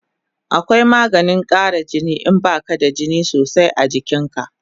Akwai maganin kara jini in baka da jini sosai a jikin ka